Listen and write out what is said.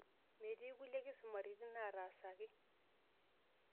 Metii kulie kisumaritin naatasaki.